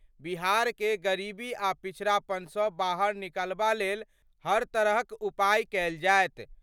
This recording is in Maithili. बिहार कए गरीबी आ पिछड़ापन स बाहर निकालबा लेल हर तरहक उपाय कयल जाएत।